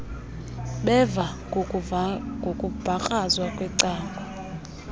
beva ngokumbakrazwa kwecango